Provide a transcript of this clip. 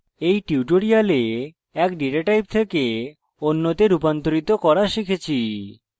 in tutorial in data type থেকে অন্যতে রুপান্তরিত করা শিখেছি